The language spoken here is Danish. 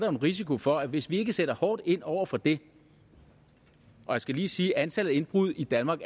en risiko for at hvis vi ikke sætter hårdt ind over for det jeg skal lige sige at antallet af indbrud i danmark